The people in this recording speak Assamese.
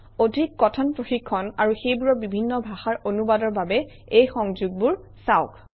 অধিক কথন প্ৰশিক্ষণ আৰু সেইবোৰৰ বিভিন্ন ভাষাৰ অনুবাদৰ বাবে এই সংযোগবোৰ চাওক